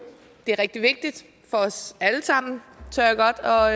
det er rigtig vigtigt for os alle sammen tør